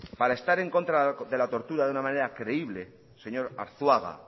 para estar en contra de la tortura de una manera creíble señor arzuaga